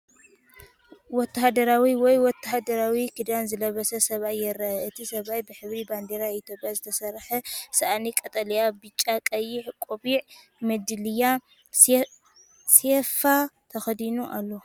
ወተሃደራዊ ወይ ወተሃደራዊ ክዳን ዝለበሰ ሰብኣይ ይረአ። እቲ ሰብኣይ ብሕብሪ ባንዴራ ኢትዮጵያ ዝተሰርሐ ሳእኒ (ቀጠልያ፣ ብጫ፣ ቀይሕ)፣ ቆቢዕ፣ መዳልያ፣ ሴፍ ተኸዲኑ ኣሎ።